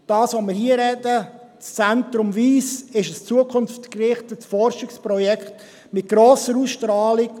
Das Wyss Centre, über welches wir hier sprechen, ist ein zukunftsgerichtetes Forschungsprojekt mit einer grossen Ausstrahlung.